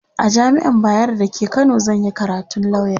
a jamian bayero da ke Kano zanyi karatun lauya